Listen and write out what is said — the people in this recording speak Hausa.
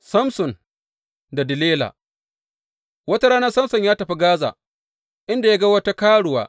Samson da Delila Wata rana Samson ya tafi Gaza, inda ya ga wata karuwa.